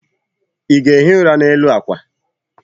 ị ga-ehi ụra n'elu akwa?